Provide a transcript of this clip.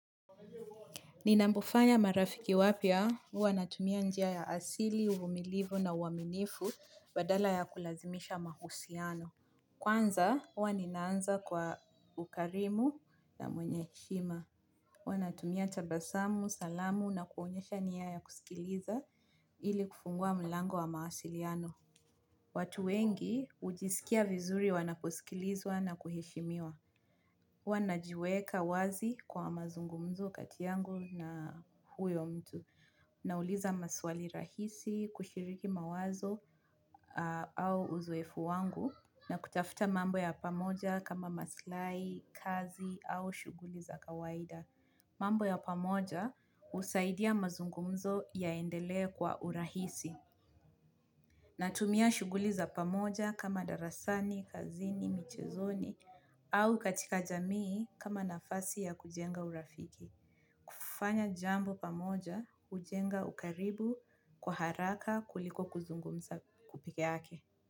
Ninapofanya marafiki wapya huwa natumia njia ya asili, uvumilivu na uaminifu badala ya kulazimisha mahusiano. Kwanza huwa ninaanza kwa ukarimu na mwenye heshima. Huwa natumia tabasamu, salamu na kuonyesha nia ya kusikiliza ili kufungua mlango wa mawasiliano. Watu wengi hujisikia vizuri wanaposikilizwa na kuheshimiwa. Huwa najiweka wazi kwa mazungumzo kati yangu na huyo mtu. Nauliza maswali rahisi kushiriki mawazo au uzoefu wangu ja kutafuta mambk ya pamoja kama maslai kazi au shughuli za kawaida. Mambo ya pamoja husaidia mazungumzo yaendelee kwa urahisi. Natumia shughuli za pamoja kama darasani, kazini, michezoni au katika jamii kama nafasi ya kujenga urafiki. Kufanya jambo pamoja hujenga ukaribu kwa haraka kuliko kuzungumza peke yake.